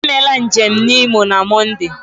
Emela njem na Imo na Mọnde!